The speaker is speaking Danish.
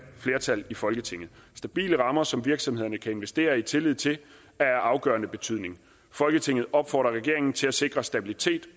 flertal i folketinget stabile rammer som virksomheder kan investere i tillid til er af afgørende betydning folketinget opfordrer regeringen til at sikre stabilitet